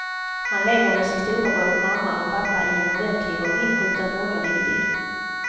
Han lever med sin storebror, mamma och pappa i en ordentlig och inrutad borgerlig idyll.